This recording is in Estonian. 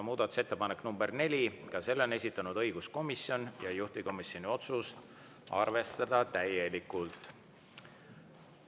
Muudatusettepanek nr 4, ka selle on esitanud õiguskomisjon, juhtivkomisjoni otsus: arvestada täielikult.